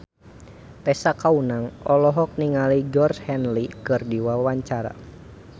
Tessa Kaunang olohok ningali Georgie Henley keur diwawancara